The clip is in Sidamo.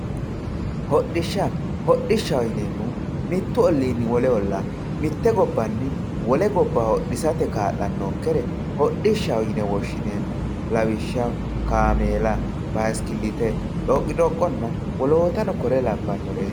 Hodhisha hodhishaho yinemohu wole olla mitte gobbanni wolle gobba hodhisate kalanonkere hodhishaho yine woshinemo lawishaho kamella basikilite dhoqidhoqenna wolotano kore labanoreti